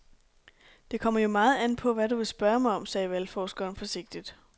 Det kommer jo meget an på, hvad du vil spørge mig om, sagde valgforskeren forsigtigt.